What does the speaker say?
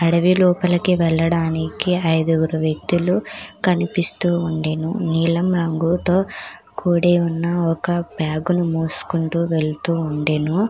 అడవి లోపలికి వెళ్లడానికి ఐదుగురు వ్యక్తులు కనిపిస్తూ ఉండెను నీలం రంగుతో కుడి ఉన్న ఒక బ్యాగును మొసుకుంటూ వెళ్తూ ఉండెను.